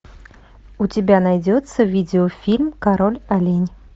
у тебя найдется видеофильм король олень